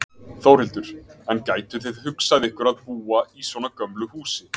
Þórhildur: En gætuð þið hugsað ykkur að búa í svona gömlu húsi?